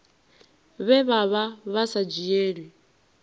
vhe vha vha sa dzhielwi